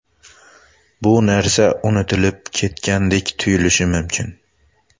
Bu narsa unutilib ketgandek tuyulishi mumkin.